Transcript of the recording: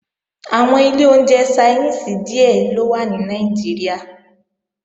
Àwọn ilé oúnjẹ Ṣainíìsì díè ló wà ní Nàìjíríà